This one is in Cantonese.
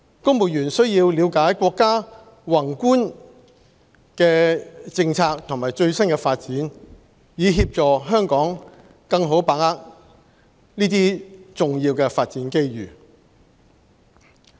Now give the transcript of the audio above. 公務員須要了解國家的宏觀政策和最新發展，以協助香港更好的把握這些重要發展機遇。